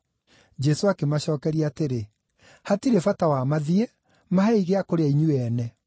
Jesũ akĩmacookeria atĩrĩ, “Hatirĩ bata wa mathiĩ. Mahei gĩa kũrĩa inyuĩ ene.”